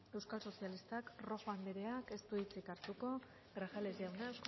euskal sozialistak rojo andreak ez du hitzik hartuko grajales jauna